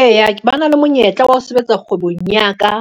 Eya ba na le monyetla wa ho sebetsa kgwebong ya ka,